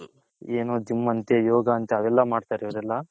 ಏನೋ gym ಅಂತೆ ಯೋಗ ಅಂತೆ ಅವೆಲ್ಲ ಮಾಡ್ತಾರೆ ಯುವ್ರೆಲ್ಲ.